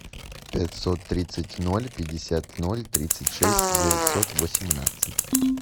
пятьсот тридцать ноль пятьдесят ноль тридцать шесть девятьсот восемнадцать